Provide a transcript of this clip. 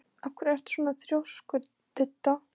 Af hverju ertu svona þrjóskur, Didda?